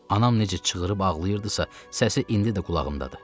Anam necə çığırıb ağlayırdısa, səsi indi də qulağımdadır.